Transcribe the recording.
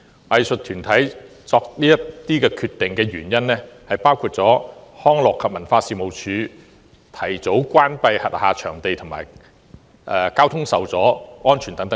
藝術團體作此等決定的原因包括康樂及文化事務署提早關閉轄下場地及交通受阻。